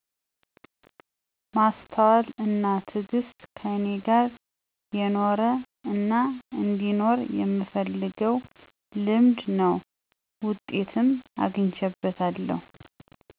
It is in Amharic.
ማስተዋል አና ትግስት ከኔ ጋር የኖረ አናአንዲኖር የምፈልገው ልምድ ነው። ውጤትም አግቸበታለሁ።